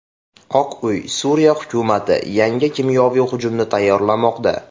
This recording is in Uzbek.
Oq uy: Suriya hukumati yangi kimyoviy hujumni tayyorlamoqda.